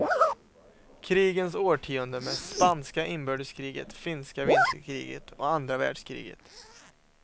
Krigens årtionde med spanska inbördeskriget, finska vinterkriget och andra världskriget.